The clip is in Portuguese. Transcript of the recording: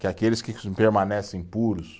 Que aqueles que permanecem puros,